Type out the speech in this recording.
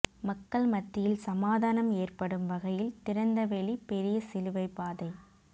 மக்கள் மத்தியில் சமாதானம் ஏற்படும் வகையில் திறந்த வெளி பெரிய சிலுவைப்பாதை